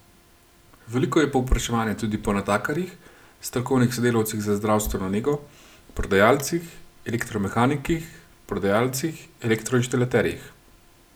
Veliko je povpraševanja tudi po natakarjih, strokovnih sodelavcih za zdravstveno nego, prodajalcih, elektromehanikih, prodajalcih, elektroinštalaterjih.